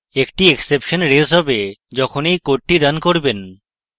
একটি exception raise হবে যখন এই code রান করবেন